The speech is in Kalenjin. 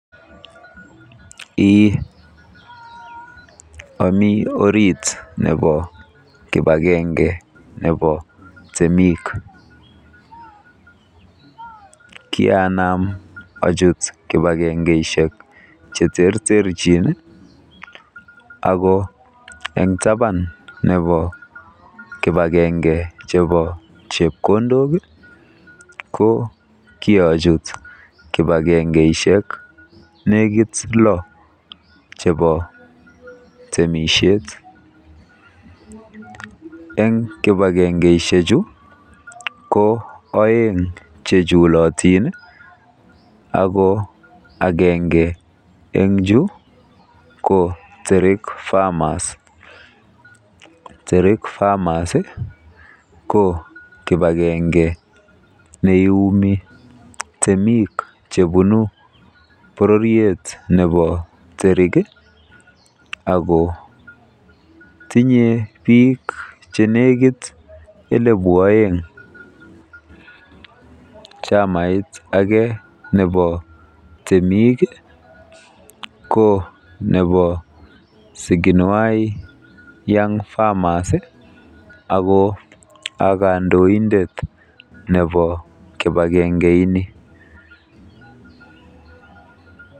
Eeh. Omi orit nebo kipagenge nebo temik. Kianam achuut kipakengeishek cheterterchin eng taban nebo kibagenge chebo chepkondok ako kiachut kipagengeishek neekit lo chebo temisiet. Eng kipakengeishechu ko oeng chechulotin ako agenge eng chu ko Terik Farmers. Terik Farmers ko kipagenge neiumi Temiik chebunu bororiet nebo Terik ako tinye biik che nekiit elebu oeng. Chamait age nebo temisiet ko Siginwai Young Farmers ako a kandoindet nebo kipagenge ini.